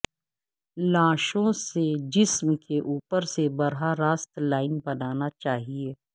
لاشوں سے جسم کے اوپر سے براہ راست لائن بنانا چاہئے